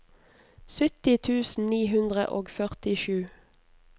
sytti tusen ni hundre og førtisju